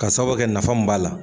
Ka sababuya kɛ nafa mun b'a la